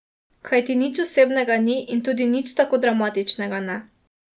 Kajti, nič osebnega ni in tudi nič tako dramatičnega ne.